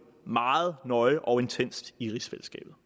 meget nøje og intenst i rigsfællesskabet